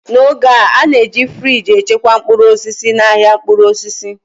n'oge a, a na-eji friji echekwa mkpụrụ osisi n'ahịa mkpụrụ osisi